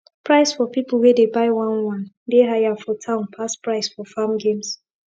price for people wey dey buy one one dey higher for town pass price for farm games